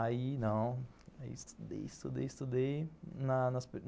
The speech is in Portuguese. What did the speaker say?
Aí não, aí estudei, estudei, estudei.